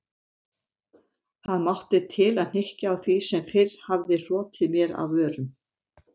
Ég mátti til að hnykkja á því sem fyrr hafði hrotið mér af vörum